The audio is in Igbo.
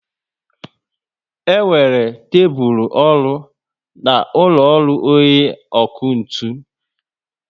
E nwere tébulu ọrụ na úlọ ọrụ onye ọkụ ntụ